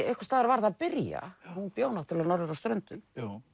einhvers staðar varð að byrja hún bjó norður á Ströndum